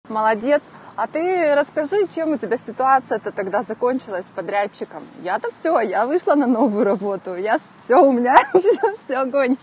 молодец а ты расскажи чем у тебя ситуация то тогда закончилась подрядчиком я-то всё я вышла на новую работу я всё у меня всё огонь